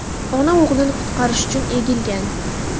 Ona o‘g‘lini qutqarish uchun egilgan.